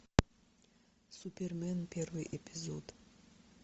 супермен первый эпизод